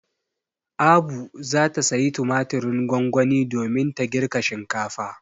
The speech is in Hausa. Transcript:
Abu za ta sayi tumatirin gongoni domin ta girka shinkafa.